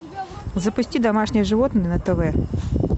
запусти домашние животные на тв